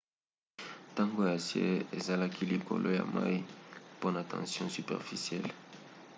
tonga ya acier ezalaki likolo ya mai mpona tension superficielle